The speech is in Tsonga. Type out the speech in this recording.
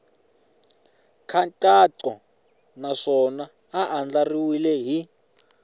nkhaqato naswona ya andlariwile hi